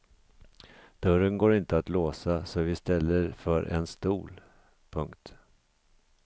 Dörren går inte att låsa så vi ställer för en stol. punkt